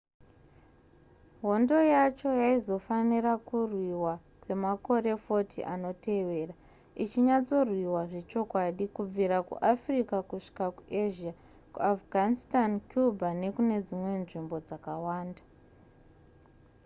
hondo yacho yaizofanira kurwiwa kwemakore 40 anotevera ichinyatsorwiwa zvechokwadi kubvira kuafrica kusvika kuasia kuafghanitsan cuba nekune dzimwe nzvimbo dzakawanda